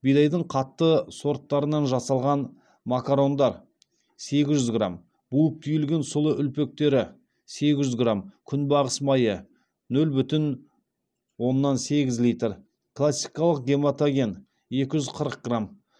бидайдың қатты сорттарынан жасалған макарондар сегіз жүз грамм буып түйілген сұлы үлпектері сегіз жүз грамм күнбағыс майы нөл бүтін оннан сегіз литр классикалық гематоген екі жүз қырық грамм